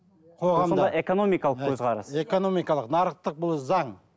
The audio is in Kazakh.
қоғамда бұл сонда экономикалық көзқарас экономикалық нарықтық бұл заң